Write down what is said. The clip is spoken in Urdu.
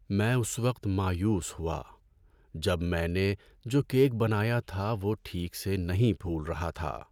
میں اس وقت مایوس ہوا جب میں نے جو کیک بنایا تھا وہ ٹھیک سے نہیں پھول رہا تھا۔